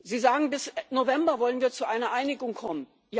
Sie sagen, bis November wollen wir zu einer Einigung kommen.